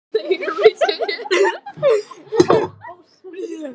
Björnssyni sendiherra: Gerður er alveg friðlaus að komast út.